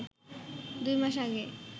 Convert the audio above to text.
দুই মাস আগে